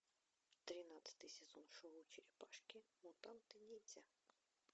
тринадцатый сезон шоу черепашки мутанты ниндзя